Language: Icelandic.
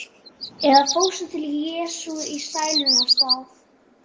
Eða fórstu til Jesú í sælunnar stað?